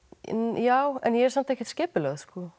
já en ég er samt ekkert kipulögð